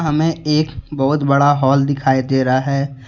हमें एक बहुत बड़ा हॉल दिखाई दे रहा है।